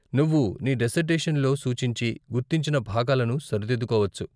నువ్వు నీ డిసర్టేషన్లో సూచించి, గుర్తించిన భాగాలను సరిదిద్దుకోవచ్చు.